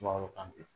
Mangoro kante